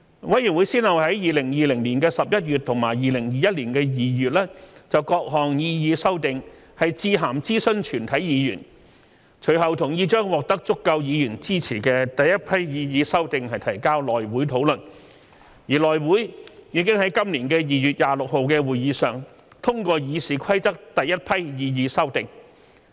委員會先後於2020年11月及2021年2月就各項擬議修訂致函諮詢全體議員，隨後同意將獲得足夠議員支持的第一批擬議修訂提交內會討論，而內會已於今年2月26日的會議上通過《議事規則》第一批擬議修訂。